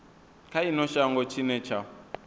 kha ino shango tshine tsha